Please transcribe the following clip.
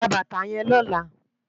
Gbá bàtá yèn lòlá